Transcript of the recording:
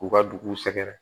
K'u ka dugu sɛgɛrɛ